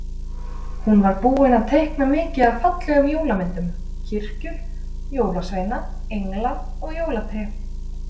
Hún var búin að teikna mikið af fallegum jólamyndum- kirkjur, jólasveina, engla og jólatré.